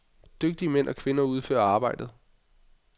Dygtige mænd og kvinder udførte arbejdet.